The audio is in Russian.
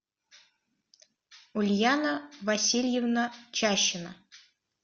ульяна васильевна чащина